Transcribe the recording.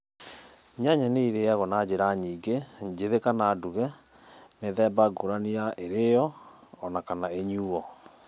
nyanya nĩ ĩrĩagũo na njĩra nyĩngĩ, njĩthĩ kana ndũge, mĩthemba ngũranĩ ya ĩrĩo onakana ĩnyũo